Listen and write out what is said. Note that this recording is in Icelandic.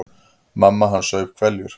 Mamma hans saup hveljur.